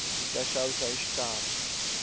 hita xavisa hi xitalo